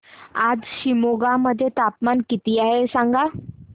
आज शिमोगा मध्ये तापमान किती आहे सांगा